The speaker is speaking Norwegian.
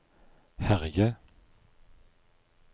herje